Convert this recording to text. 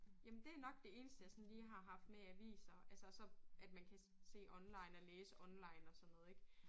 Jamen det nok det eneste jeg sådan lige har haft med aviser altså og så at man kan se online og læse online og sådan noget ik